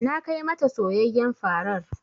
Na kai ma ta soyayyen farar.